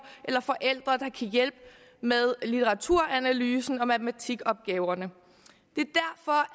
eller forældre der kan hjælpe med litteraturanalysen og matematikopgaverne